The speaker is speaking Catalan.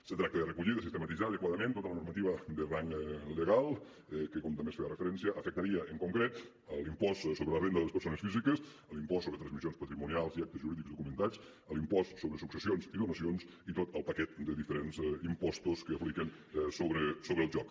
se tracta de recollir de sistematitzar adequadament tota la normativa de rang legal que com també s’hi feia referència afectaria en concret l’impost sobre la renda de les persones físiques l’impost sobre transmissions patrimonials i actes jurídics documentats l’impost sobre successions i donacions i tot el paquet de diferents impostos que apliquen sobre el joc